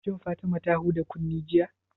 Shin Fatima ta huɗa kunne jiya?